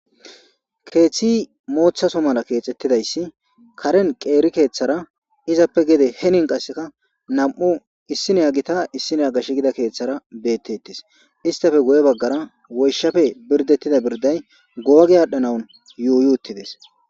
Keeththi mooththaso mala keexxettidayssi karen qeeri keeththara izappe gede henin qasseka nam'u issineya gita issineya gashsh gida keeththara beettettes istafe goye baggara woyshape birdettida birday googe aadhdhanawun yuuyi uuttides.